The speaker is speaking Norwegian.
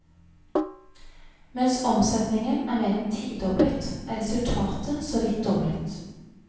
Mens omsetningen er mer enn tidoblet, er resultatet så vidt doblet.